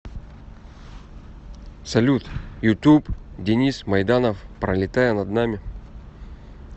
салют ютуб денис майданов пролетая над нами